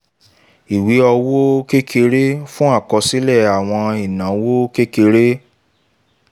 ìwé owó kékeré - fún àkọsílẹ̀ àwọn ìnáwó kékeré